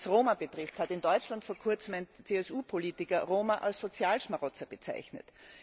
Was Roma betrifft, hat in Deutschland vor kurzem ein CSU Politiker Roma als Sozialschmarotzer bezeichnet.